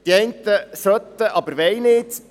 Die einen sollten, aber wollen nicht.